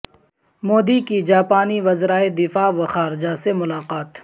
مودی کی جاپانی وزرائے دفاع و خارجہ سے ملاقات